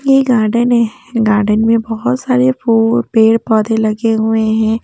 ये गार्डन है गार्डन में बहुत सारे फू पेड़-पौधे लगे हुए हैं।